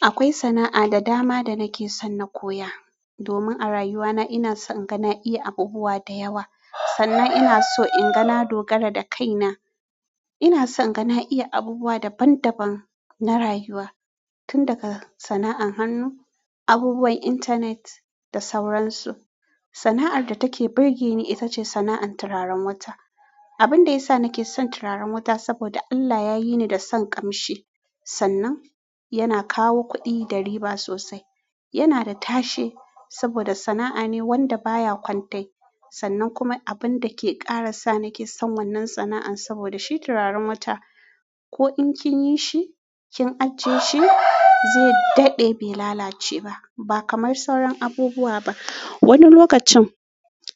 Akwai sana'a da dama da nake son na koya. Domin a rayuwana ina son in ga na iya abubuwa da yawa, sannan ina so in ga na dogara da kaina. Ina son inga na iya abubuwa daban-daban na rayuwa, tun daga sana'an hannu, abubuwan intanet da sauransu. Sana'ar da take birge ni ita ce sana'an turaren wuta. Abin da ya sa nake son turaren wuta saboda Allah ya yi ni da son ƙamshi. Sannan yana kawo kuɗi da riba sosai. Yana da tashe saboda sana'a ne wanda baya kwantai. Sannan kuma abin da ke ƙara sa nake son wannan sana'an saboda shi turaren wuta ko in kin yi shi, kin ajiye shi zai daɗe bai lalace ba. Ba kamar sauran abubuwa ba. Wani lokacin